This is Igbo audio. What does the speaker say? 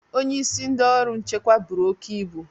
Onye isi ndị ọrụ nchekwa buru oke ibu